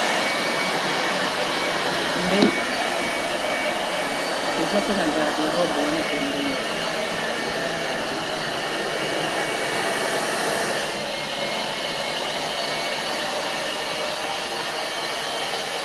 Mbeto eza pe na garde robe wana pembeni.